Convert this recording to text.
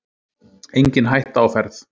Engin hætta á ferð